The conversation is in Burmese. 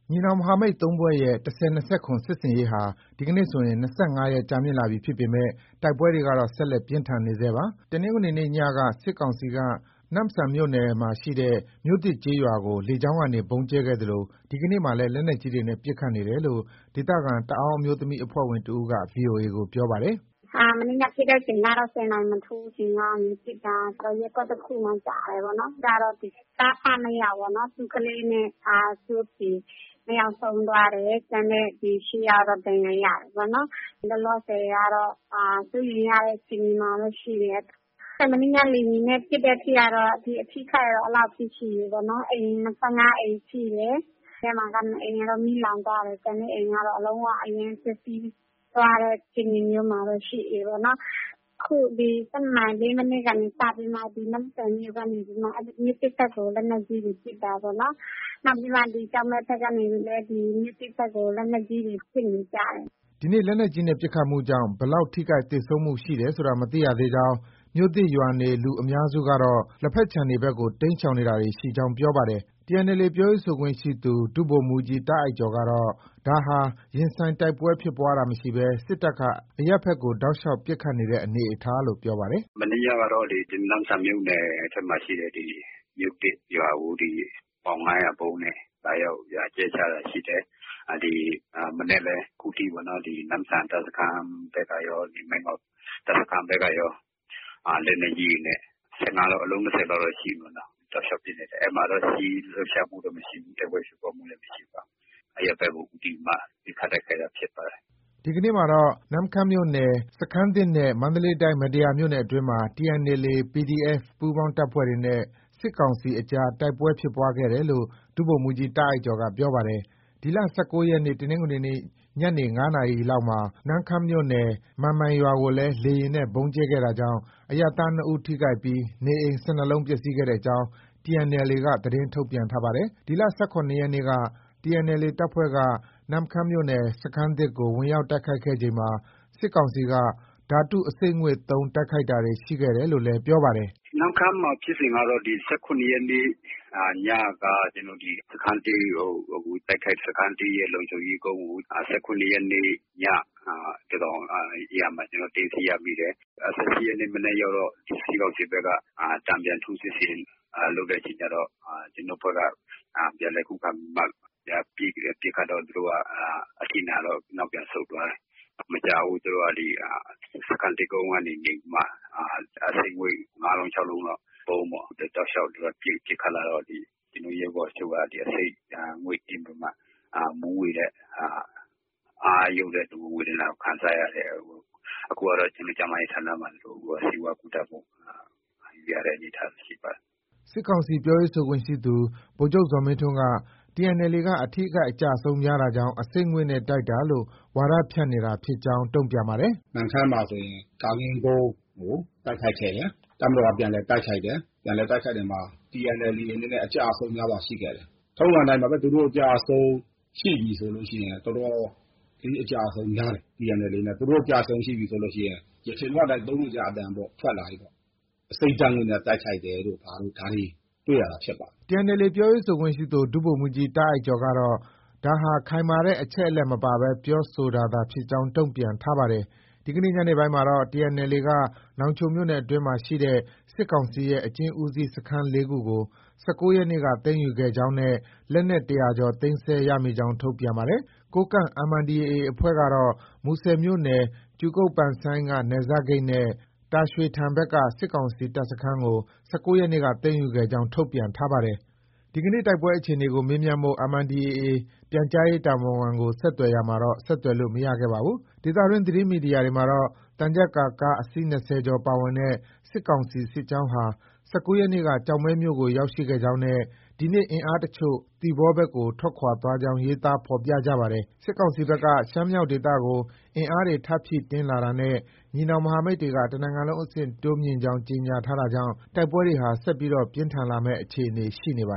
ညီနောင်မဟာမိတ် ၃ ဖွဲ့ရဲ့ ၁၀၂၇ စစ်ဆင်ရေးဟာ ဒီနေ့ဆိုရင် ၂၅ရက်ကြာမြင့်လာပြီဖြစ်ပေမယ့် တိုက်ပွဲတွေကတော့ ဆက်လက် ပြင်းထန်နေဆဲပါ။ တနင်္ဂနွေနေ့ညက စစ်ကောင်စီက နမ့်ဆန်မြို့နယ်ရှိ မြို့သစ်ကျေးရွာကို လေကြောင်းကနေ ဗုံးကြဲခဲ့သလို ဒီကနေ့မှာလည်း လက်နက်ကြီး တွေနဲ့ ပစ်ခတ်နေတယ်လို့ ဒေသခံ တအာင်းအမျိုးသမီးအဖွဲ့ဝင်တဦးက VOA ကို ပြောပါတယ်။ “ မနေ့ည ပစ်တဲ့အချိန်ကတော့ ၁၀နာရီ မထိုးခင်ပစ်တာ။ ရပ်ကွက်တခုမှာ ကျတယ်ပေါ့နော်။ ကျတော့ သားအဖ ၂ယောက်ပေ့ါနော်။ သူ့ကလေးနဲ့ သူ့အဖေ ၂ယောက်ဆုံးသွားတယ်။ ကျန်တဲ့ ၈ ယောက် ကတော့ ဒဏ်ရာရတယ်ပေ့ါနော်။ လောလောဆယ် ကတော့ စိုးရိမ်ရတဲ့ အခြေအနေမှာ ရှိတယ်။ မနေ့ည လေယာဉ်နဲ့ပစ်တဲ့အထိ ကတော့ အထိအခိုက်ကတော့ အဲလောက်ရှိတယ်။ အိမ် ၂၅ အိမ်ထိ တယ်။ အဲဒီထဲမှာ ၂ အိမ်ကတော့ မီးလောင်သွားတယ်။ ကျန်တဲ့အိမ်ကတော့ လုံး၀ အရမ်းပျက်စီး သွားတဲ့ အခြေအနေမျိုး မှာတော့ ရှိတယ်ပေါ့နော်။ အခု ဒီ ၁၂နာရီ ၄မိနစ်ကနေ စပြီးတော့မှ နမ့်ဆန်မြို့ကနေ မြို့သစ်ဘက်ကို လက်နက်ကြီးတွေ ပစ်တာပေါ့နော်။ နောက်ပြီး ကျောက်မဲဘက်ကနေ မြို့သစ်ဘက်ကို လက်နက်ကြီးတွေ ပစ်နေကြတယ်။” ဒီနေ့ လက်နက်ကြီးနဲ့ ပစ်ခတ်မှုကြောင့် ဘယ်လောက် ထိခိုက် သေဆုံးမှု ရှိတယ်ဆိုတာ မသိရ သေးကြောင်း ၊ မြို့သစ်ရွာနေ လူအများစု ကတော့ လက်ဖက်ခြံတွေ ဘက်ကို တိမ်းရှောင်တာတွေ ရှိကြောင်း ပြောပါတယ်။ TNLA ပြောရေးဆိုခွင့်ရှိသူ ဒုဗိုလ်မှုးကြီး တာ့အိုက်ကျော်ကတော့ ဒါဟာ ရင်ဆိုင်တိုက်ပွဲ ဖြစ်ပွါးတာမရှိပဲ စစ်တပ်က အရပ်ဘက်ကို တောက်လျှောက် ပစ်ခတ်တဲ့ အနေအထားလို့ ပြောပါတယ်။ “ မနေ့ညကတော့ ဒီ နမ့်ဆန်မြို့နယ်ထဲမှာရှိတဲ့ မြို့သစ်ရွာကို ဒီ ပေါင် ၅၀၀ ရှိတဲ့ ဗုံးနဲ့ လာရောက် ကြဲချတာရှိတယ်။ ဒီမနက်လည်း အခုထိပေါ့ နမ့်ဆန်တပ်စခန်းဘက်ကရော၊ မိုင်းငေ့ါ တပ်စခန်း ဘက်ကရော လက်နက်ကြီးတွေနဲ့ ၁၅လုံး၊ အလုံး ၂၀လောက် တော့ ရှိပြီ တောက်လျောက်ပစ် နေတယ်။ အဲဒီမှာတော့ စစ်ရေးလှုပ်ရှားမှု လည်း မရှိဘူး။ တိုက်ပွဲဖြစ်ပွားမှုလည်း မရှိပါဘူး။ အရပ်ဘက်ကို ဦးတည်ပြီးမှ ပစ်ခတ်တိုက်ခိုက်တာဖြစ်ပါတယ်။” ဒီကနေ့မှာ နမ့်ခမ်းမြို့နယ် စခန်းသစ်နဲ့ မန္တလေးတိုင်း မတ္တရာ မြို့နယ်အတွင်းမှာ TNLA ၊ PDF ပူးပေါင်းတပ် တွေနဲ့ စစ်ကောင်စီအကြား တိုက်ပွဲဖြစ်ပွား ခဲ့တယ်လို့ ဒုဗိုလ်မှုးကြီး တာ့အိုက်ကျော်က ပြောပါတယ်။ ဒီလ ၁၉ရက်နေ့ တနင်္ဂနွေနေ့ ညနေ ၅ နာရီခန့် မှာ နမ့်ခမ်းမြို့နယ် မန်မိုင်ရွာကိုလည်း လေယာဉ်နဲ့ ဗုံးကြဲခဲ့တာကြောင့် အရပ်သား ၂ဦး ထိခိုက်ပြီး နေအိမ် ၁၂လုံးပျက်ဆီးခဲ့ကြောင်း TNLA က သတင်းထုတ်ပြန်ထားပါတယ်။ ဒီ ၁၇ရက်နေ့က TNLA တပ်ဖွဲ့က နမ့်ခမ်းမြို့ စခန်းသစ်ကို ဝင်ရောက်တိုက်ခိုက်ခဲ့ ချိန်မှာ စစ်ကောင်စီက ဓါတု အဆိပ်ငွေ့ သုံးတိုက်ခိုက်တာတွေရှိတယ် လို့လည်း ပြောပါတယ်။ “ နမ့်ခမ်းမှာဖြစ်စဉ်ကတော့ ၁၇ရက်နေ့ ညက စခန်းသစ်ကို တိုက်ခိုက်တယ်။ စခန်းသစ်ရဲ့လုံခြုံရေး ကုန်းကို ၁၇ ရက်နေ့ ညသန်းခေါင်ယံမှာ ကျနော်တို့ သိမ်းဆည်းရမိတယ်။ ၁၈ရက်နေ့ မနက် ရောက်တော့ စစ်ကောင်စီဘက်က တန်ပြန် ထိုးစစ်ဆင်လုပ်တဲ့အခါကျတော့ ကျနော်တို့ အဖွဲ့က ပြန်လည် ခုခံပြီးတော့ ပစ်ခတ်တော့ သူတို့က အထိနာတော့ နောက်ပြန်ဆုတ်သွားတယ်။ မကြာဘူး သူတို့က စခန်းသစ်ကုန်းကနေပြီးတော့မှ အဆိပ်ငွေ့ ၅လုံး၊ ၆လုံးလောက် ဗုံးပေ့ါ။ သူတို့က ပစ်ခတ်လာ တော့ ကျနော်တို့ ရဲဘော်အချို့က အဆိပ်ဓါတ်ငွေ့ သင့်ပီးမှ မူးဝေတဲ့။ အားယုတ်တဲ့ ဒဏ်ကို ခံစားရတယ်။ အခုကတော့ ကျန်းမာရေးဌာနမှာ ဆေးဝါးကုသမှှု ခံနေရတဲ့ အနေအထား ဖြစ်ပါတယ်။ ” စစ်ကောင်စီ ပြောရေးဆိုခွင့်ရှိသူ ဗိုလ်ချုပ် ဇော်မင်းထွန်းက TNLA က အထိအခိုက် အကျအဆုံး များတာကြောင်း အဆိပ်ငွေ့နဲ့ တိုက်တာလို့ ဝါဒါ ဖြန့်နေတာ ဖြစ်ကြောင်း ပြောပါတယ် “ နမ့်ခမ်းမှာဆိုရင် ကာကင်းကုန်းကို တိုက်ခိုက်ခဲ့တယ်။ တပ်မတော်က ပြန်လည် တိုက်ခိုက်တယ်။ ပြန်လည်တိုက်ခိုက်တဲ့နေရာမှာ TNLA အနေနဲ့ အကျအဆုံး များစွာရှိခဲ့တယ်။ ထုံးစံအတိုင်းပါပဲ သူတို့ အကျအဆုံး ရှိပြီဆိုရင် တော်တော်လေး အကျအဆုံးများတယ်။ TNLA အနေနဲ့ ၊ သူတို့ အကျအဆုံးရှိပြီဆိုရင် ယခင်က အတိုင်း သုံးနေကျ အသံပေါ့ ထွက်လာပြီ။ အဆိပ်ဓါတ်ငွေ့နဲ့ တိုက်ခိုက်တယ်တို့ ဘာတို့ ၊ ဒါတွေ တွေ့ ရတာဖြစ်ပါတယ်။ ” TNLA ပြောရေးဆိုခွင့်ရှိသူ ဒုဗိုလ်မှုးကြီး တာ့အိုက်ကျော်ကတော့ ဒါဟာ ခိုင်မာတဲ့ အချက်အလက် မပါဘဲ ပြောဆိုတာသာ ဖြစ်ကြောင်း တုံ့ပြန်ထားပါတယ်။ ဒီနေ့ညနေပိုင်းမှာတော့ TNLA က နောင်ချိုမြို့နယ်အတွင်းရှိ စစ်ကောင်စီရဲ့ အကျဉ်းဦးစီး စခန်း ၄ခုကို ၁၉ရက်နေ့က သိမ်းယူခဲ့ကြောင်းနဲ့ လက်နက် ၁၀၀ ကျော် သိမ်းဆည်းရမိကြောင်း ထုတ်ပြန်ပါတယ်။ ကိုးကန့် MNDAA အဖွဲ့ကတော့ မူဆယ်မြို့နယ် ကြူကုတ်(ပန်ဆိုင်း)က နယ်စပ်ဂိတ်နဲ့ တာရွှေထန် ဘက်က စစ်ကောင်စီ တပ်စခန်းကို ၁၉ ရက်နေ့က သိမ်းယူခဲ့ကြောင်း ထုတ်ပြန်ထားပါတယ်။ ဒီကနေ့ တိုက်ပွဲအခြေအနေကို မေးမြန်းဖို့ MNDAA ပြန်ကြားရေး တာဝန်ခံကို ဆက်သွယ်ရာမှာတော့ ဆက်သွယ်လို့ မရခဲ့ပါဘူး။ ဒေသတွင်း သတင်းမီဒီယာတွေမှာတော့ သံချပ်ကာ ကား အစီး ၂၀ကျော်ပါဝင်တဲ့ စစ်ကောင်စီ စစ်ကြောင်းဟာ ၁၉ရက်နေ့က ကျောက်မဲမြို့ကို ရောက်ရှိခဲ့ကြောင်းနဲ့ ဒီနေ့ အင်အား တချို့ သီပေါ ဘက်ကို ထွက်ခွာသွားကြောင်း ရေးသားဖော်ပြကြပါတယ်။ စစ်ကောင်စီဘက်က ရှမ်းမြောက်ဒေသကို အင်အားတွေ ထပ်မံဖြည့်တင်း လာတာ နဲ့ ညီနောင်မဟာမိတ်တွေက တနိုင်ငံလုံးအဆင့် တိုးမြှင့် ကြောင်း ကြေညာထားတာ ကြောင့် တိုက်ပွဲတွေဟာ ဆက်လက် ပြင်းထန်လာမယ့် အခြေအနေတွေ ရှိနေပါ